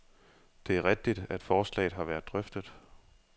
Det er rigtigt, at forslaget har været drøftet.